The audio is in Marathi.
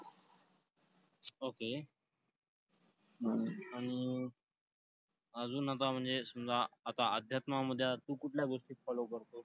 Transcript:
okay आणि अजून आता म्हणजे समजा, आता अध्यात्मामध्ये तू कुठल्या गोष्टी follow करतोस?